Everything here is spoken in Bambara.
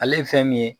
Ale ye fɛn min ye